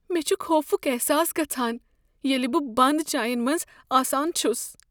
مےٚ چُھ خوفُک احساس گژھان ییلِہ بہٕ بند جاین منٛز آسان چُھس ۔